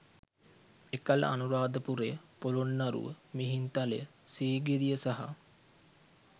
එකල අනුරාධපුරය, පොළොන්නරුව, මිහින්තලය, සීගිරිය සහ